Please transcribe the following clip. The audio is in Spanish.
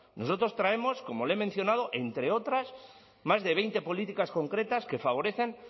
nosotros traemos como le he mencionado entre otras más de veinte políticas concretas que favorecen